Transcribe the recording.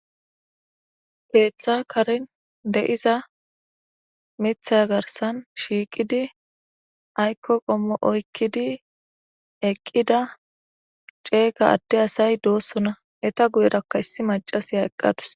keeththa karin de7iza mitha garsan shiiqidi aykko qommo oykkidi eqqida ceega adte asay doossona eta guyerakka issi macasiya eqqadus